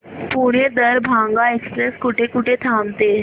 Pune Darbhanga express कुठे कुठे थांबते